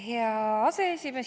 Hea aseesimees!